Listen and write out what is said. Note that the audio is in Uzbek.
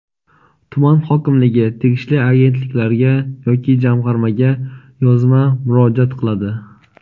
tuman hokimligi tegishli agentliklarga yoki Jamg‘armaga yozma murojaat qiladi.